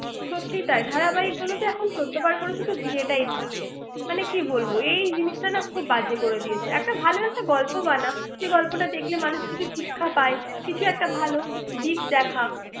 সত্যিই তাই ধারাবাহিক গুলোতে চোদ্দবার করে শুধু বিয়েটাই হচ্ছে মানে কি বলবো এই জিনিসটা না খুব বাজে করে দিয়েছে একটা ভালো একটা গল্প বানা সেই গল্পটা দেখলে মানুষ কিছু শিক্ষা পায় কিছু একটা ভালো দিক দেখা